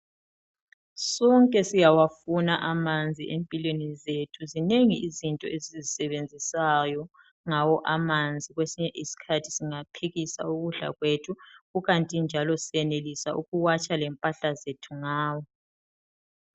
Sonke siyawafuna amanzi empilweni zethu, zinengi izinto esizisebenzisayo ngawo amanzi. Kwesinye isikhathi singaphekisa ukudla kwethu. Kukanti njalo siyenelisa ukuwatsha lempahla zethu ngawo.